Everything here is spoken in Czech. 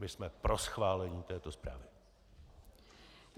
My jsme pro schválení této zprávy.